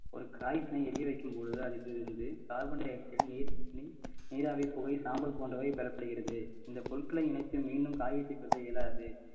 ஒரு காகிதத்தை எரிய வைக்கும் பொழுது அதில் இருந்து carbon dioxide நீர்~ நீர்~ நீராவி புகை சாம்பல் போன்றவை பெறப்படுகிறது இந்த பொருட்கள இணைத்து மீண்டும் காகிதத்தை பொருத்த இயலாது